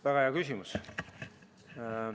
Väga hea küsimus.